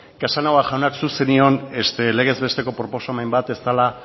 casanova jauna zuk zenion legez besteko proposamen bat ez zela